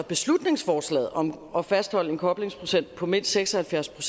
beslutningsforslaget om at fastholde en koblingsprocent på mindst seks og halvfjerds